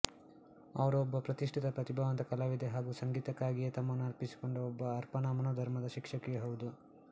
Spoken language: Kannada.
ಅವರು ಒಬ್ಬ ಪ್ರತಿಷ್ಠಿತ ಪ್ರತಿಭಾವಂತ ಕಲಾವಿದೆ ಹಾಗೂ ಸಂಗೀತಕ್ಕಾಗಿಯೇ ತಮ್ಮನ್ನು ಅರ್ಪಿಸಿಕೊಂಡ ಒಬ್ಬ ಅರ್ಪಣಾ ಮನೋಧರ್ಮದ ಶಿಕ್ಷಕಿಯೂ ಹೌದು